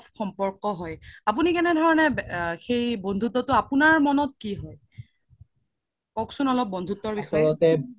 সম্পৰ্ক হয় আপোনি কেনে ধৰণে সেই বন্ধুত্বতো আপোনাৰ মনত কি হয় কওক্চোন অলপ বন্ধুত্বৰ বিষয়ে